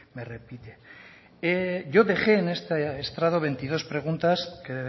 me repite yo dejé en este estrado veintidós preguntas que